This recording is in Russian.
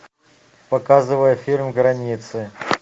показывай фильм границы